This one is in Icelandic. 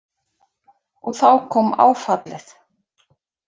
Og þá kom áfallið.